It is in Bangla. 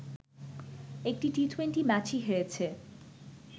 একটি টি-টোয়েন্টি ম্যাচই হেরেছে